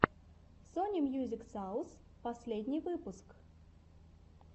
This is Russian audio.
сони мьюзик саус последний выпуск